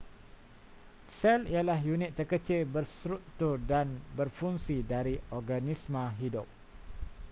sel ialah unit terkecil berstruktur dan berfungsi dari organisma hidup